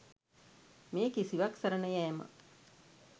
මේ කිසිවක් සරණ යෑම